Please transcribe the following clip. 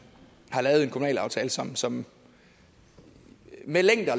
kommunalaftale som som med længder